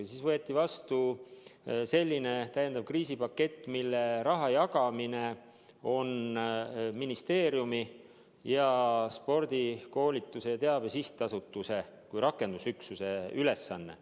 Ja siis võeti vastu selline täiendav kriisipakett, mille raha jagamine on ministeeriumi ning Spordikoolituse ja -Teabe SA kui rakendusüksuse ülesanne.